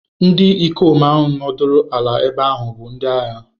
Ndi ikom ahụ nọdụrụ ala ebe ahụ bụ ndị agha.